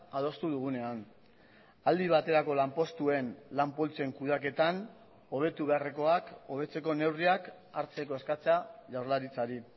adostu dugunean aldi baterako lanpostuen lan poltsen kudeaketan hobetu beharrekoak hobetzeko neurriak hartzeko eskatzea jaurlaritzari